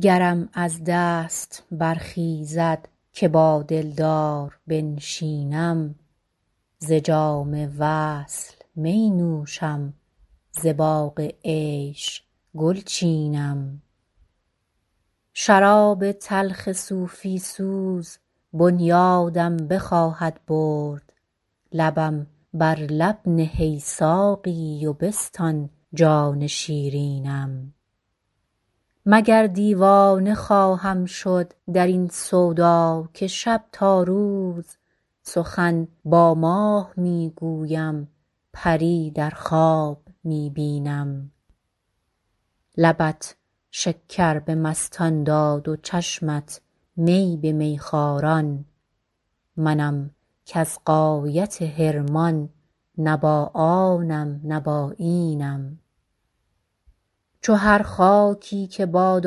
گرم از دست برخیزد که با دلدار بنشینم ز جام وصل می نوشم ز باغ عیش گل چینم شراب تلخ صوفی سوز بنیادم بخواهد برد لبم بر لب نه ای ساقی و بستان جان شیرینم مگر دیوانه خواهم شد در این سودا که شب تا روز سخن با ماه می گویم پری در خواب می بینم لبت شکر به مستان داد و چشمت می به میخواران منم کز غایت حرمان نه با آنم نه با اینم چو هر خاکی که باد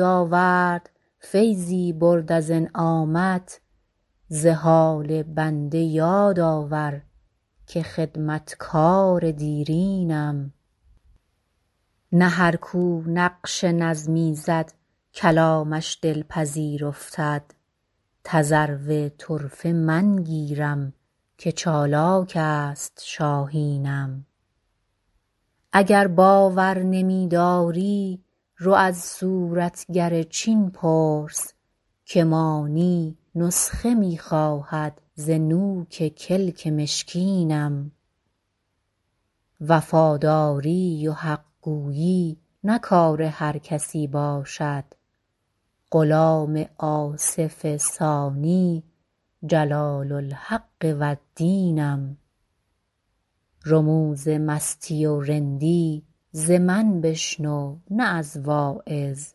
آورد فیضی برد از انعامت ز حال بنده یاد آور که خدمتگار دیرینم نه هر کو نقش نظمی زد کلامش دلپذیر افتد تذرو طرفه من گیرم که چالاک است شاهینم اگر باور نمی داری رو از صورتگر چین پرس که مانی نسخه می خواهد ز نوک کلک مشکینم وفاداری و حق گویی نه کار هر کسی باشد غلام آصف ثانی جلال الحق و الدینم رموز مستی و رندی ز من بشنو نه از واعظ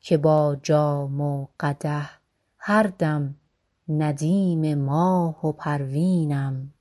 که با جام و قدح هر دم ندیم ماه و پروینم